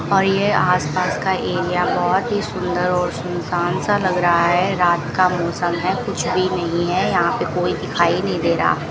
और ये आसपास का एरिया बहोत ही सुंदर और सुन सान सा लग रहा है रात का मौसम है कुछ भी नहीं है यहां पे कोई दिखाई नहीं दे रहा --